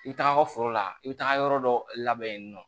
I bɛ taga foro la i bɛ taga yɔrɔ dɔ labɛn yen nɔ